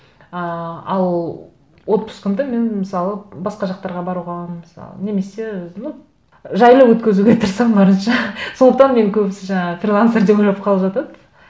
ыыы ал отпускымды мен мысалы басқа жақтарға баруға мысалы немесе ну жайлы өткізуге тырысамын барынша сондықтан мені көбісі жаңағы фрилансер деп ойлап қалып жатады